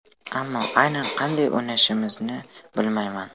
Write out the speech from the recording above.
Ammo aynan qanday o‘ynashimizni bilmayman.